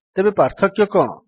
ତେବେ ପାର୍ଥକ୍ୟ କଣ